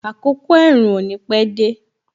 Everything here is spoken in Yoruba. Àkọ́kọ́ ẹ̀rùn ò ní pẹ dé